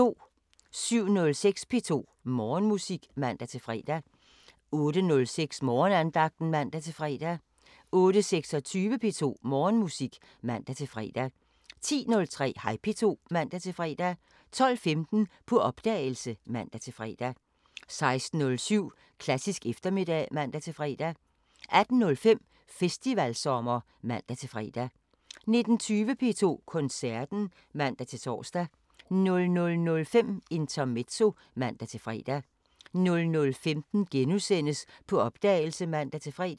07:06: P2 Morgenmusik (man-fre) 08:06: Morgenandagten (man-fre) 08:26: P2 Morgenmusik (man-fre) 10:03: Hej P2 (man-fre) 12:15: På opdagelse (man-fre) 16:07: Klassisk eftermiddag (man-fre) 18:05: Festivalsommer (man-fre) 19:20: P2 Koncerten (man-tor) 00:05: Intermezzo (man-fre) 00:15: På opdagelse *(man-fre)